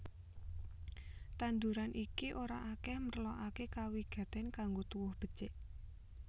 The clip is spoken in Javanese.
Tanduran iki ora akèh merlokaké kawigatèn kanggo tuwuh becik